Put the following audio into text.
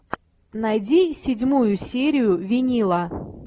найди седьмую серию винила